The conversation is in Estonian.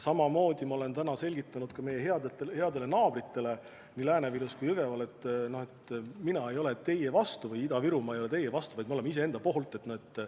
Samamoodi ma olen täna selgitanud ka meie headele naabritele nii Lääne-Virus kui Jõgeval, et mina ei ole teie vastu või Ida-Virumaa ei ole teie vastu, vaid me oleme iseenda poolt.